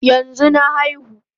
Yanzu na aihu